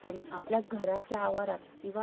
किंवा आपल्या office किंवा